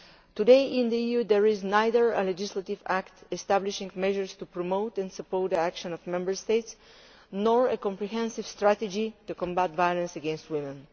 Today in the EU there is neither a legislative act establishing measures to promote and support the action of Member States nor a comprehensive strategy to combat violence against women.